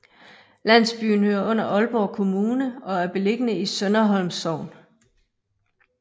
Landsbyen hører under Aalborg Kommune og er beliggende i Sønderholm Sogn